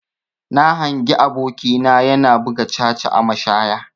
Na hangi aboki na yana buga caca a mashaya.